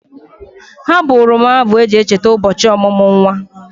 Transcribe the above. Ha bụụrụ m abụ eji e cheta ụbọchị ọmụmụ nwa.